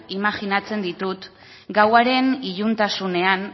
imajinatzen ditut gauaren iluntasunean